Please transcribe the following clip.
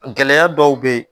Gɛlɛya dɔw bɛ ye